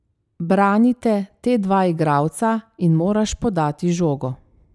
Branita te dva igralca in moraš podati žogo.